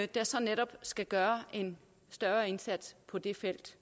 der så netop skal gøre en større indsats på det felt